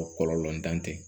Kɔlɔlɔ ntan tɛ